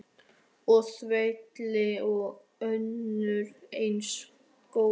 Og þvílík og önnur eins gól.